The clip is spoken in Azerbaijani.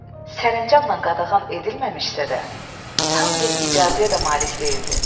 Sərəncamla qadağan edilməmişsə də, tam bir icazəyə də malik deyildi.